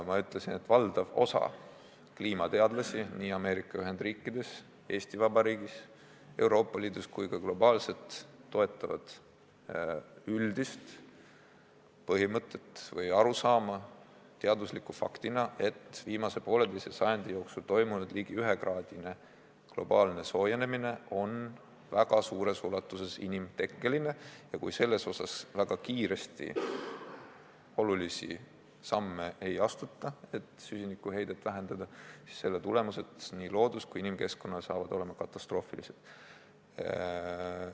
Ma ütlesin, et valdav osa kliimateadlasi Ameerika Ühendriikides, Eesti Vabariigis, Euroopa Liidus ja ka globaalselt toetavad üldist põhimõtet või arusaama teadusliku faktina, et viimase poolteise sajandi jooksul toimunud ligi ühekraadine globaalne soojenemine on väga suures ulatuses inimtekkeline ja kui väga kiiresti ei astuta olulisi samme, et süsinikuheidet vähendada, siis selle tagajärjed loodus- ja ka inimkeskkonnale on katastroofilised.